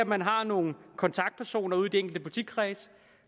man har nogle kontaktpersoner ude i de enkelte politikredse